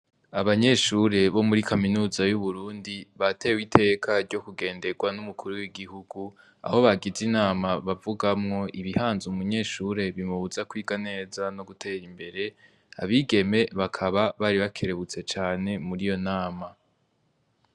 Abanyeshure bo muri Kaminuza y'Uburundi batewe iteka ryo kugenderwa n'umukuru w'igihugu aho bagize inama bavugamwo ibihanze umunyeshure bimubuza kwiga neza no gutera imbere. Abigeme bakaba bari bakerebutse cane muri iyo nama.